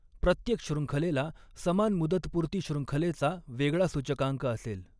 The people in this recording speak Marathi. प्रत्येक शृंखलेला समान मुदतपूर्ती शृंखलेचा वेगळा सूचकांक असेल.